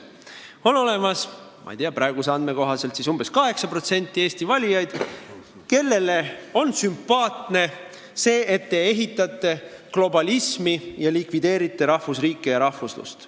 On olemas, ma ei tea, praeguste andmete kohaselt umbes 8% Eesti valijaid, kellele on sümpaatne see, et te ehitate globalismi ning likvideerite rahvusriiki ja rahvuslust.